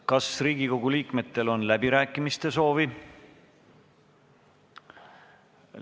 Kas Riigikogu liikmetel on läbirääkimiste soovi?